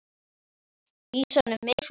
Vísan um mig er svona